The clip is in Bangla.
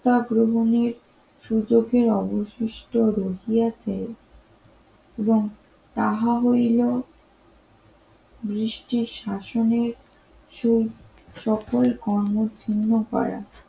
আগ্রহণের সূচকের অবশিষ্ট রোজী আছে এবং তাহা হইল বৃষ্টির শাসনের সুখ সকল কর্মচ্ছিন্ন করা